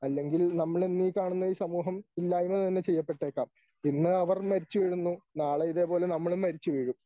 അല്ലെങ്കിൽ നമ്മളിന്നീ കാണുന്ന ഈ സമൂഹം ഇല്ലായ്മ തന്നെ ചെയ്യപ്പെട്ടേക്കാം. പിന്നെ അവർ മരിച്ചുവീഴുന്നു നാളെ ഇതേപോലെ നമ്മളും മരിച്ചുവീഴും.